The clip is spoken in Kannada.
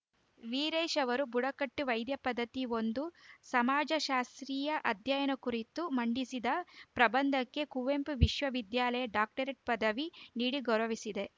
ವಿರೇಶ್‌ ಅವರು ಬುಡಕಟ್ಟು ವೈದ್ಯ ಪದ್ಧತಿ ಒಂದು ಸಮಾಜಶಾಸ್ತ್ರಿಯ ಅಧ್ಯಯನ ಕುರಿತು ಮಂಡಿಸಿದ ಪ್ರಬಂಧಕ್ಕೆ ಕುವೆಂಪು ವಿಶ್ವವಿದ್ಯಾಲಯ ಡಾಕ್ಟರೇಟ್‌ ಪದವಿ ನೀಡಿ ಗೌರವಿಸಿದೆ